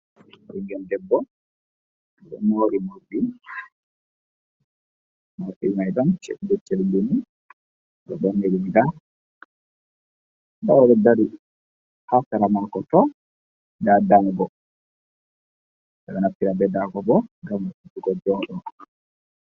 Ɓingel debbo ɗo mori morɗi, morɗi mai ɗon chelbi chelbi ba darde riga, nda oɗo dari ha seera mako nda dago, ɓe ɗo naftira be dago bo ngam we'utugo jooɗo.